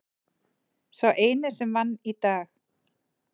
Sá eini sem vann í dag.